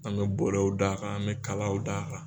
An mɛ bɔlɔw d'a kan an mɛ kalaw d'a kan.